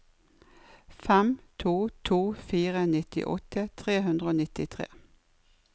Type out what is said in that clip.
fem to to fire nittiåtte tre hundre og nittitre